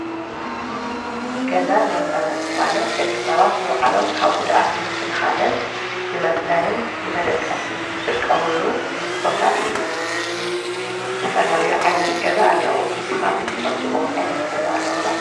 ገዛን መንበርን ማለት ደቀ ሰባት ነውዓሎም ካብ ጕድኣት ምክልኻልን ንመጽደልን ንመደቀስን ዝጥቀሙሉ ቦታ እዩ ዘተፈላለዩ ዓይነት ገዛ ኣለዉ ንስኻትን ትፈልጥቦም ዓይነት ገዛ ኣለዉ ዶ